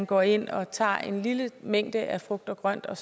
gå ind og tage en lille mængde af frugt og grønt og